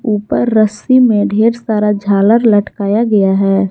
ऊपर रस्सी में ढेर सारा झालर लटकाया गया है।